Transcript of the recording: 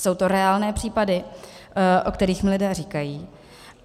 Jsou to reálné případy, o kterých mi lidé říkají.